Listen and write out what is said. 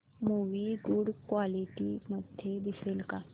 movie good quality मध्ये दिसेल का